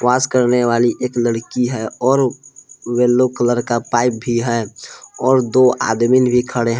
पास करने वाली एक लड़की है और येलो कलर का पाइप भी है और दो आदमीन भी खड़े है।